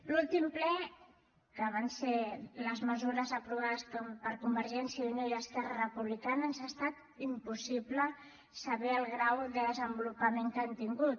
l’últim ple que van ser les mesures aprovades per convergència i unió i esquerra republicana ens ha estat impossible saber el grau de desenvolupament que han tingut